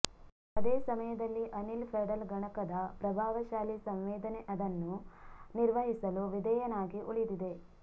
ಅದೇ ಸಮಯದಲ್ಲಿ ಅನಿಲ ಪೆಡಲ್ ಗಣಕದ ಪ್ರಭಾವಶಾಲಿ ಸಂವೇದನೆ ಅದನ್ನು ನಿರ್ವಹಿಸಲು ವಿಧೇಯನಾಗಿ ಉಳಿದಿದೆ